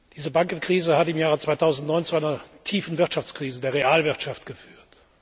Diese Bankenkrise hat im Jahr 2009 zu einer tiefen Wirtschaftskrise der Realwirtschaft geführt.